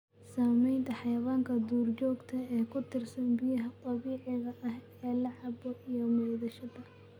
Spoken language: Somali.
Saamaynta xayawaanka duurjoogta ah ee ku tiirsan biyaha dabiiciga ah ee la cabbo iyo maydhashada.